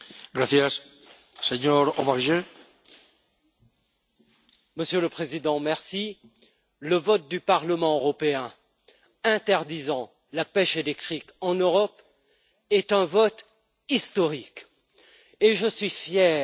Monsieur le Président, le vote du Parlement européen interdisant la pêche électrique en Europe est un vote historique et je suis fier de ce Parlement européen qui s'est hissé au niveau